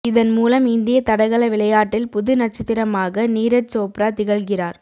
இதன் மூலம் இந்திய தடகள விளையாட்டில் புது நட்சத்திரமாக நீரஜ் சோப்ரா திகழ்கிறார்